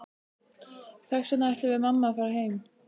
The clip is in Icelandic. Þess vegna ætlum við mamma að fara heim.